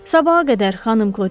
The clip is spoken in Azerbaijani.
Sabaha qədər, xanım Klotilda.